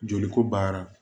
Joli ko baara